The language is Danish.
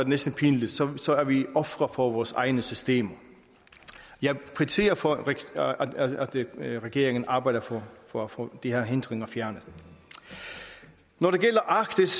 næsten pinligt så så er vi ofre for vores egne systemer jeg kvitterer for at regeringen arbejder for for at få de her hindringer fjernet når det gælder arktis